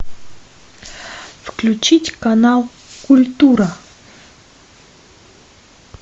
включить канал культура